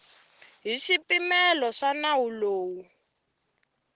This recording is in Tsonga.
hi swipimelo swa nawu lowu